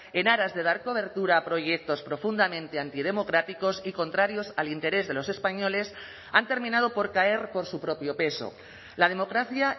en aras de dar cobertura a proyectos profundamente antidemocráticos y contrarios al interés de los españoles han terminado por caer por su propio peso la democracia